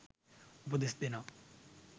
උපදෙස්‌ දෙනවා.